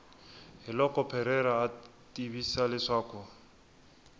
hiloko parreira a tivisa leswaku